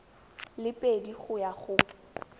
le pedi go ya go